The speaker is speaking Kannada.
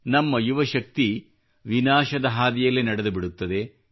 ನಮ್ಮ ಯುವಶಕ್ತಿ ವಿನಾಶದ ಹಾದಿಯಲ್ಲಿ ನಡೆದುಬಿಡುತ್ತದೆ